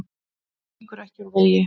Hann víkur ekki úr vegi.